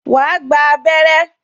Wà á gba abẹrẹ́